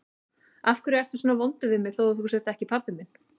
Af hverju ertu svona vondur við mig þó að þú sért ekki pabbi minn?